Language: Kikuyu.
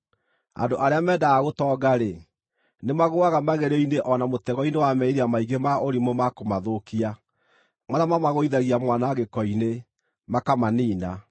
Andũ arĩa mendaga gũtonga-rĩ, nĩmagũũaga magerio-inĩ o na mũtego-inĩ wa merirĩria maingĩ ma ũrimũ ma kũmathũkia, marĩa mamagũithagia mwanangĩko-inĩ, makamaniina.